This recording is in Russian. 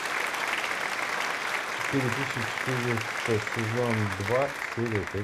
четыре тысячи четыреста сезон два серия пять